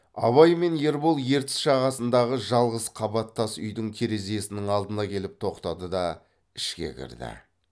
абай мен ербол ертіс жағасындағы жалғыз қабат тас үйдің терезесінің алдына келіп тоқтады да ішке кірді